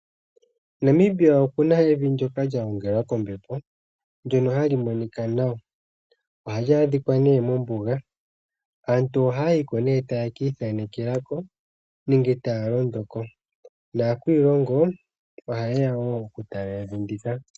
Namibia okuna evi ndyoka lya gongelwa kombepo, ndyono hali monika naw. Ohali adhika nee mombuga. Aantu ohayayiko ne tayekii thaanekelako, nenge taya londo ko, nakwiilongo ohayeya wo okutala ehala ndika.